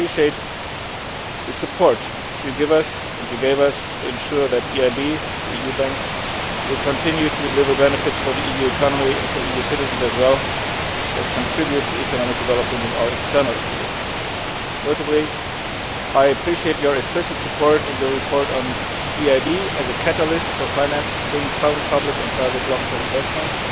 I appreciate the support you give us and have given us to ensure that the EIB, the EU Bank, will continue to deliver benefits for the EU economy and for EU citizens as well as contribute to economic development in our external activities. Notably, I appreciate your explicit support in the report on the EIB as a catalyst for financing sound public and private long term investments